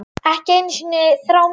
Ekki einu sinni þrá mín.